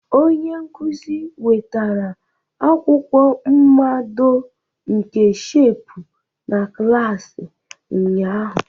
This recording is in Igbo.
Onye nkuzi wetara akwụkwọ mmado nke shepu na klas ụnyaahụ.